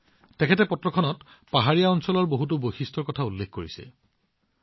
ৰমেশজীয়ে তেওঁৰ পত্ৰখনত পৰ্বতবোৰৰ বহুতো বৈশিষ্ট্যৰ বিষয়ে উল্লেখ কৰিছে